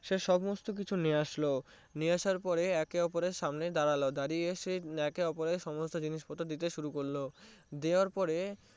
সে সমস্তকিছু নিয়ে আসলো নিয়ে এসে একে অপরের সামনে দাড়ালো দাঁড়িয়ে একে অপরের জিনিসপত্র দিয়ে শুরু করলো দেওয়ার পরে